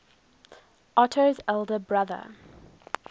otto's elder brother